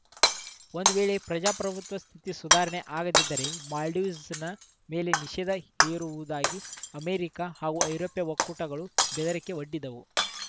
ಒಂದು ವೇಳೆ ಪ್ರಜಾಪ್ರಭುತ್ವ ಸ್ಥಿತಿ ಸುಧಾರಣೆ ಆಗದಿದ್ದರೆ ಮಾಲ್ಡೀವ್ಸ್ ಮೇಲೆ ನಿಷೇಧ ಹೇರುವುದಾಗಿ ಅಮೆರಿಕ ಹಾಗೂ ಐರೋಪ್ಯ ಒಕ್ಕೂಟಗಳು ಬೆದರಿಕೆ ಒಡ್ಡಿದ್ದವು